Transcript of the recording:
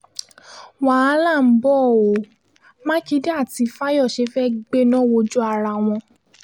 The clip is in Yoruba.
wàhálà ń bọ́ ọ mákindé àti fáyọ́ṣe fẹ́ẹ́ gbẹ́ná wojú ara wọn